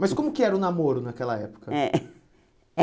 Mas como que era o namoro naquela época? É